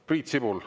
Priit Sibul …